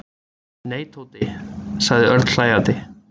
Nei, Tóti sagði Örn hlæjandi.